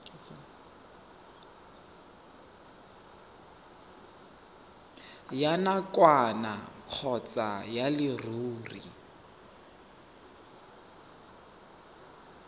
ya nakwana kgotsa ya leruri